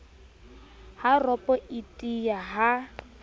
ha ropo e tiya ha